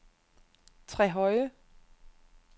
Trehøje